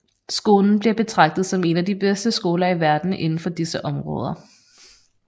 Skolen bliver betragtet som en af de bedste skoler i verden inden for disse områder